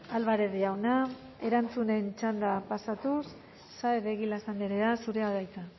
álvarez jauna erantzunen txandara pasatuz saez de egilaz andrea zurea da hitza